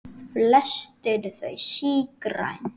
Flest eru þau sígræn.